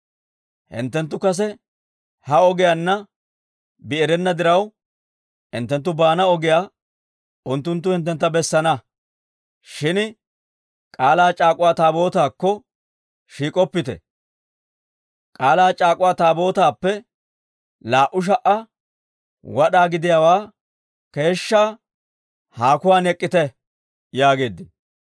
Hinttenttu kase ha ogiyaanna bi erenna diraw, hinttenttu baana ogiyaa unttunttu hinttentta bessana. Shin k'aalaa c'aak'uwa Taabootaakko shiik'oppite; K'aalaa c'aak'uwa Taabootaappe laa"u sha"a wad'aa gidiyaawaa keeshshaa haakuwaan ek'k'ite» yaageeddino.